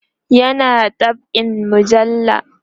yana dab'in mujalla